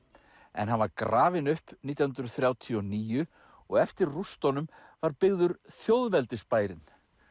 en hann var grafinn upp nítján hundruð þrjátíu og níu og eftir rústunum var byggður þjóðveldisbærinn